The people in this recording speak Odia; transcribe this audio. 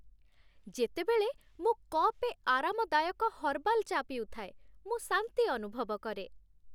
ଯେତେବେଳେ ମୁଁ କପେ ଆରାମଦାୟକ ହର୍ବାଲ୍ ଚା' ପିଉଥାଏ, ମୁଁ ଶାନ୍ତି ଅନୁଭବ କରେ।